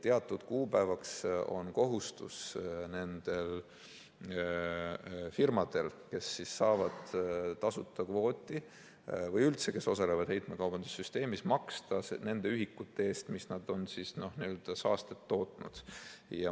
Teatud kuupäevaks on kohustus firmadel, kes saavad tasuta kvooti, või üldse neil, kes osalevad heitmekaubanduse süsteemis, maksta nende ühikute eest, mis nad on saastet tootnud.